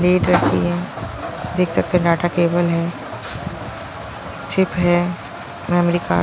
lead रखी है देख सकते हैं डाटा केबल है चिप है मेमोरी कार्ड --